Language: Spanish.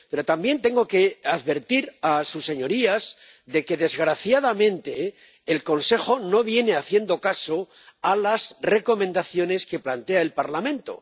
Pero también tengo que advertir a sus señorías de que, desgraciadamente, el Consejo no viene haciendo caso a las recomendaciones que plantea el Parlamento.